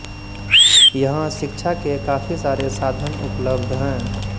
यहाँ शिक्षा के काफी सारे साधन उपलब्ध है